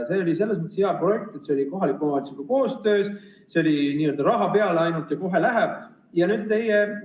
See oli selles mõttes hea projekt, et see oli kohaliku omavalitsusega koostöös, see oli, et ainult raha peale ja kohe läheb.